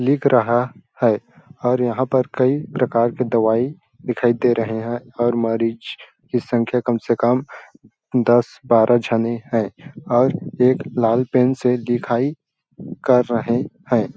लिख रहा है और यहाँ पर कई प्रकार के दवाई दिखाई दे रहे है और मरीज की संख्या कम- से- कम दस- बारह झने है और एक लाल पेन से लिखाई कर रहे हैं ।